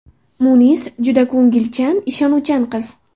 Munis juda ko‘ngilchan, ishonuvchan qiz.